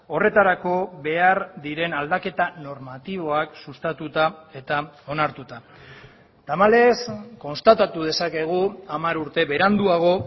horretarako behar diren aldaketa normatiboak sustatuta eta onartuta tamalez konstatatu dezakegu hamar urte beranduago